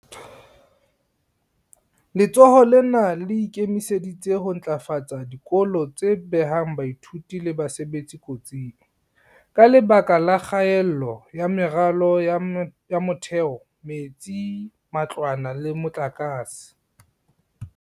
Letsholo lena le ikemiseditse ho ntlafatsa dikolo tse behang baithuti le basebetsi kotsing, ka lebaka la kgaello ya meralo ya motheo, metsi, matlwana le motlakase.